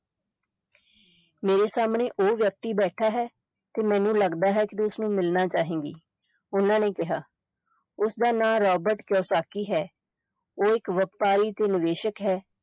ਮੇਰਾ ਸਾਹਮਣੇ ਉਹ ਵਿਅਕਤੀ ਬੈਠਾ ਹੈ ਤੇ ਮੈਨੂੰ ਲਗਦਾ ਹੈ ਕਿ ਤੂੰ ਉਸ ਨੂੰ ਮਿਲਣਾ ਚਾਹੇਗੀ, ਉਨ੍ਹਾਂ ਨੇ ਕਿਹਾ, ਉਸਦਾ ਨਾਂ ਰਾਬਰਟ ਕਿਓਸਕੀ ਹੈ, ਉਹ ਇਕ ਵਪਾਰੀ ਤੇ ਨਿਵੇਸ਼ਕ ਹੈ।